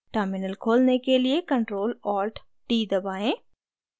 terminal खोलने के लिए ctrl + alt + t दबाएँ